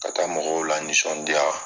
Ka taa mɔgɔw lanisɔndiya.